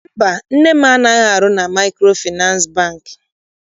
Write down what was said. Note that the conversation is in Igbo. Mba, nne m anaghị arụ na Maịkrofịnansị Bankị.